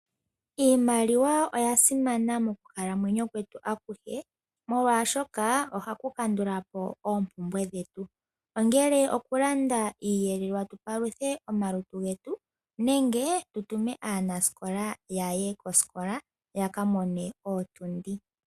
Iimaliwa oya simana mokukalamweyo kwetu akuhe, molwashoka ohaku kandula po oompumbwe dhetu. Ongele okulanda iiyelelwa tu paluthe omalutu getu, nenge tu tume aanasikola yaye kosila, ya ka mone ootundi.